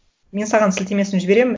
мен саған сілтемесін жіберемін